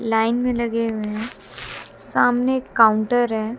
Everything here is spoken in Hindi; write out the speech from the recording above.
लाईन में लगे हुए हैं। सामने एक काउंटर है।